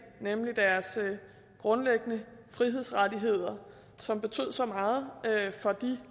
nemlig deres grundlæggende frihedsrettigheder som betød så meget for de